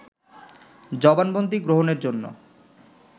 জবানবন্দি গ্রহণের জন্য